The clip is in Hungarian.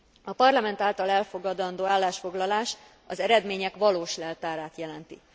A Parlament által elfogadandó állásfoglalás az eredmények valós leltárát jelenti.